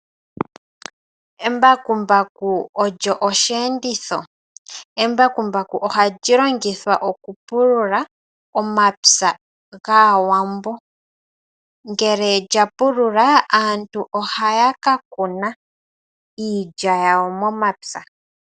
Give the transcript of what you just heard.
Embakumbaku olyo osheenditho. Embakumbaku oha lyi longithwa oku pulula omapya gaawambo. Ngele lya pulula, aantu ohaya ka kuna iilya yawo momapya.